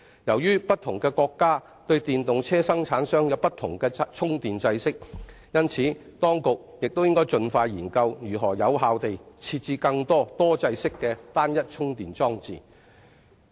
由於不同國家生產的電動車有不同的充電制式，因此，當局應盡快研究如何有效地設置更多多制式的單一充電裝置。